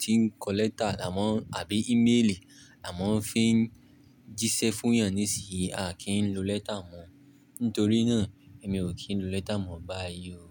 tí ń kọ lẹ́tà là mọ, àbí íméèlì là mọ fi ń jíṣẹ́ fún ènìyàn níìsí yìí, a kì í lo lẹ́tà mọ́. Nítorí náà, èmi ò kí ń lo lẹ́tà mọ́ báyìí o.